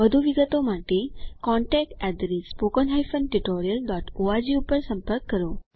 વધુ વિગતો માટે contactspoken tutorialorg પર સંપર્ક કરો